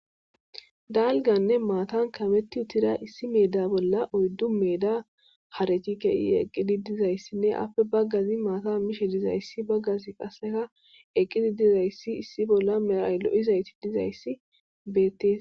Dalganne maatan kametti utira issi meeda bolla oyddu meeda harechi kei eqqidi dizayssinne appe baggazi maata mishe dizayssi baggazi qaseka eqqidi dizayssi issi bolla meraylo7izayti dizayssi beettees.